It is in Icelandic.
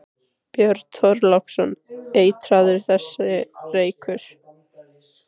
Björn Þorláksson: Eitraður þessi reykur?